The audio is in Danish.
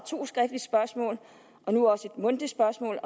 og nu også et mundtligt spørgsmål